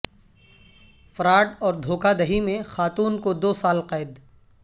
fraud اور دھو کہ دہی میں خاتون کو دو سال قید